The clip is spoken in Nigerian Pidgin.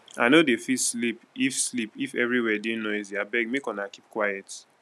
i no dey fit sleep if sleep if everywhere dey noisy abeg make una keep quiet